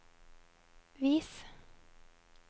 vis